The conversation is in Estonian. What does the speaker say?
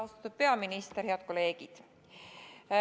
Austatud peaminister!